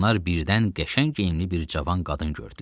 Onlar birdən qəşəng geyimli bir cavan qadın gördülər.